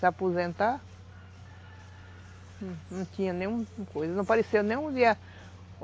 Se aposentar, não tinha nenhuma coisa, não apareceu nenhum dia.